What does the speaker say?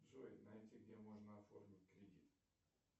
джой найти где можно оформить кредит